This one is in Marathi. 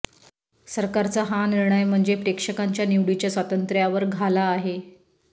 सरकारचा हा निर्णय म्हणजे प्रेक्षकांच्या निवडीच्या स्वातंत्र्यावर घाला आहे